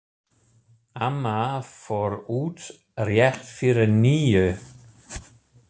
Amma fór út rétt fyrir níu.